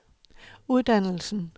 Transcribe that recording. uddannelsen